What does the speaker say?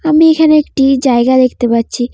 আমি এখানে একটি জায়গা দেখতে পাচ্ছি।